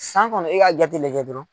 San kɔnɔ e ka jate lajɛ dɔrɔn.